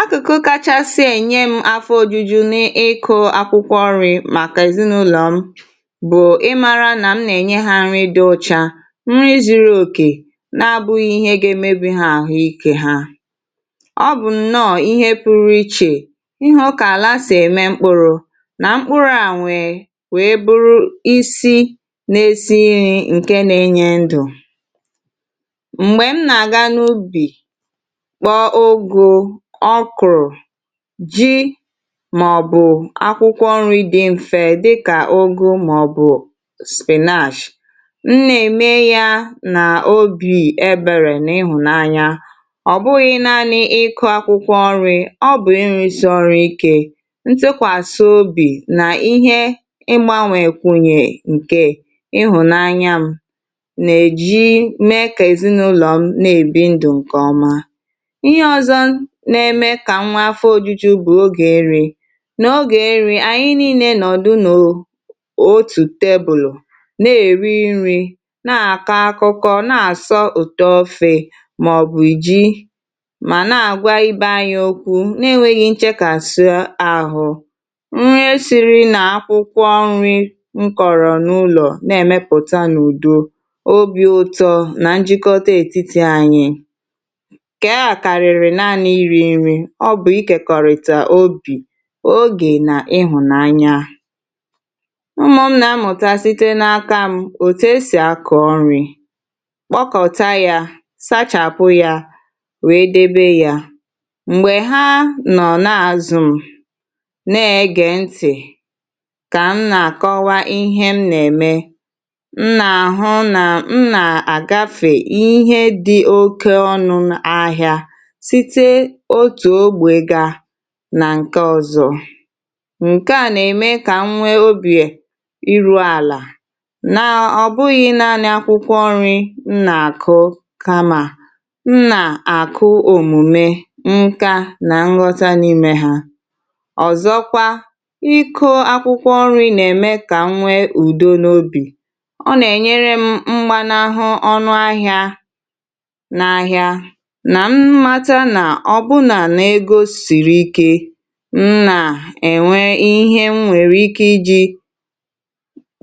Akụkụ kachasị enye m afọ òjùjù na ịkọ akwụkwọ nri maka ezinụlọ m bụ ịmara na m na-enye ha nri dị ọcha, nri zụrụ òkè na-abụghị ihe ga-emebi ha ahụ ike ha. Ọ bụ nnọọ ihe pụrụ iche ihụ ka ala sị eme mkpụrụ na mkpụrụ a nwe wee bụrụ isi na-esi nri nke na-enye ndụ. Mgbè m na-aga n’ubi kpo ụgụ, okoro, ji ma ọ bụ akwụkwọ nri dị mfe dịka ụgụ ma ọ bụ spinach, m na-eme ya na obi ebèrè n’ịhụnanya. Ọ bụghị naanị ịkọ akwụkwọ nri, ọ bụ ịrusi ọrụ ike, ntụkwasị obi na ihe ịgbà nwụ nyè nke ịhụnanya m na-eji mee ka ezinụlọ m na-ebi ndụ nke ọma. Ihe ọzọ na-eme ka m nwe afọ òjùjù bụ ogè nri, na ogè nri anyị niile nọdụ nọọ otu tebụlụ na-èri nri, na-akọ akụkọ, na-asọ ụtọ ofe ma ọ bụ ji, ma na-agwa ibe anyị okwu na-enweghi nchekasị ahụ. Nri siri na akwụkwọ nri m kọrọ n’ụlọ na-emepụta n’ụdọ, obi ụtọ na njikọta etiti anyị, nke a karịrị nani iri nri, ọ bụ ikekọrịta obi, ogè na ịhụnanya. Ụmụ m na-amụta site n’aka m òtù esi akọ nri, kpọkọta ya, sachapụ ya, wee dèbe ya. Mgbè ha nọ n’azụ m na-egè ntị ka m na-akọwa ihe m na-eme, m na-ahụ na, m na-agafè ihe dị oke ọnụ ahịa site otu ogbè ga na nke ọzọ nke a na-eme ka nwee obi ịrụ ala na ọ bụghị naanị akwụkwọ nri m na akụ, kam ma m na akụ òmùme, nkà na nghọta n’ime ha. Ọzọkwa, ịkọ akwụkwọ nri na-eme ka m nwe udo n’obì, ọ na enyere m mgbàna hụ ọnụ ahịa na ahịa, na m mata na o bụ na-ego siri ike, m na-enwe ihe m nwere ike iji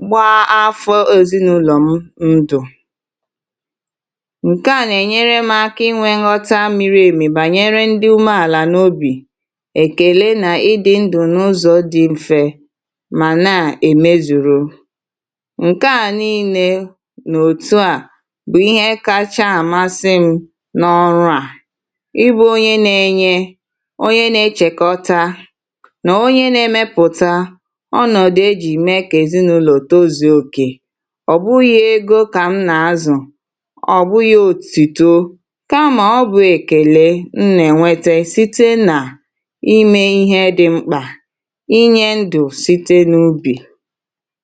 gbaa afọ ezinụlọ m ndụ, nke a na-enyere m aka inwe nghọta mịrị emi banyere ndị ume ala n’obì, èkele na ịdị ndụ n’ụzọ dị mfe ma na-emezuru, nke a niile n’òtù a bụ ihe kacha amasị m n’ọrụ a, ị bụ onye na-enye, onye na-echekọta na onye na-emepụta ọnọdụ e jị mee ka ezinụlọ tozụọ òkè. Ọ bụghị ego ka m na-azụ, ọ bụghị òtùtọ kam a bụ èkele m na-enwete site na ime ihe dị mkpa, inye ndụ site n’ubi.